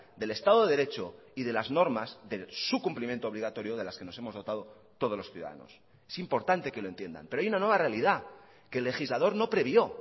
del estado de derecho y de las normas de su cumplimiento obligatorio de las que nos hemos dotado todos los ciudadanos es importante que lo entiendan pero hay una nueva realidad que el legislador no previó